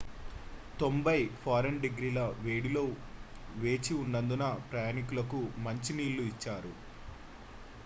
90f-డిగ్రీ వేడిలో వేచి ఉన్నందున ప్రయాణికులకు మంచి నీళ్ళు ఇచ్చారు